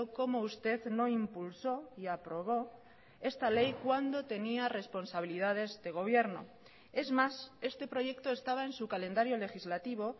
cómo usted no impulsó y aprobó esta ley cuando tenía responsabilidades de gobierno es más este proyecto estaba en su calendario legislativo